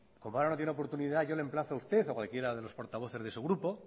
como ahora no tiene oportunidad yo le emplazó a usted o a cualquiera de los portavoces de su grupo